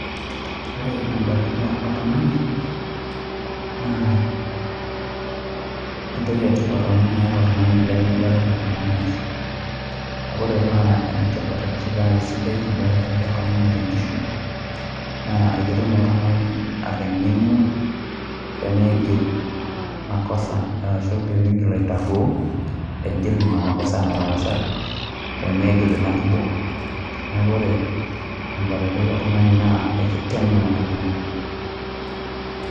Ore ebatata oltung'ani, naa entoki etipat amu meeta oltung'ani lemebatata tena maisha. Kake ore paa enetipat arashu pa isidai ebatatai oltung'ani tenkishui, naa aketum oltung'ani ateng'enu, pemigil makosa arashu pemigil aitarruo, aigil ina makosa nataasa, pemeigil ina kiboko. Neeku ore ebatatai oltung'ani naa, ekiteng'en oltung'ani.